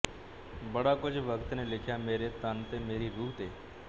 ਬੜਾ ਕੁਝ ਵਕਤ ਨੇ ਲਿਖਿਆ ਮੇਰੇ ਤਨ ਤੇ ਮੇਰੀ ਰੂਹ ਤੇ